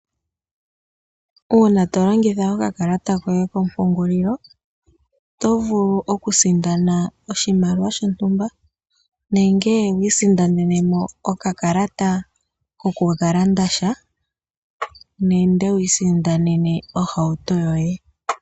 Uuna tolongitha okakalata koye kompungulilo oto vulu okusindana oshimaliwa shontumba nenge wiisindanene mo okakalata kokukalanda sha nenge wiisindanene ohauto yoye.